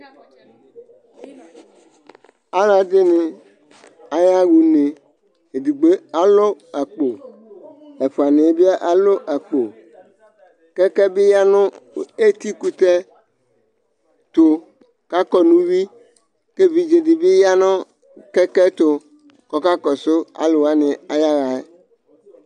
alɛdini aya ʋnɛ ɛdigbo alʋ akpo ɛfua niɛ bi alʋ akpo kɛkɛ bi yanʋ ɛti kʋtɛ tʋ kʋ akɔ nʋ uwi kʋ ɛvidzɛ di bi yanʋ kɛkɛ tʋ kʋ ɔka kɔsɔ alʋwani ayaɛ